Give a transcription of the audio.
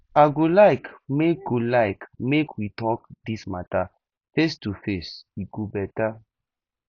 i go like make go like make we talk this matter face to face e go better